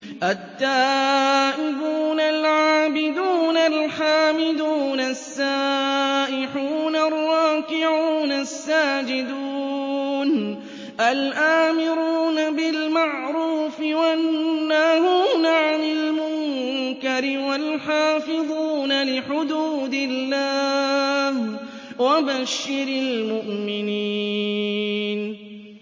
التَّائِبُونَ الْعَابِدُونَ الْحَامِدُونَ السَّائِحُونَ الرَّاكِعُونَ السَّاجِدُونَ الْآمِرُونَ بِالْمَعْرُوفِ وَالنَّاهُونَ عَنِ الْمُنكَرِ وَالْحَافِظُونَ لِحُدُودِ اللَّهِ ۗ وَبَشِّرِ الْمُؤْمِنِينَ